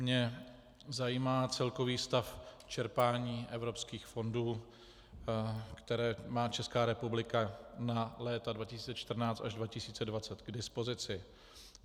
Mě zajímá celkový stav čerpání evropských fondů, které má Česká republika na léta 2014 až 2020 k dispozici.